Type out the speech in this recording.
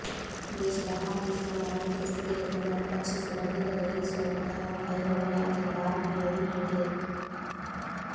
ದೇಶದ ಹಾಲಿ ಸ್ಥೂಲ ಆರ್ಥಿಕ ಸ್ಥಿತಿಗತಿಯನ್ನು ಅನುಲಕ್ಷಿಸಿ ಬಡ್ಡಿ ದರ ಏರಿಸುವ ನಿರ್ಣಯವನ್ನು ಕೈಗೊಳ್ಳಲಾಯಿತೆಂದು ಆರ್ ಬಿಐ ಹೇಳಿದೆ